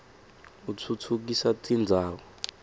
atfutfukisa tindzawo